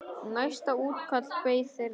Næsta útkall beið þeirra.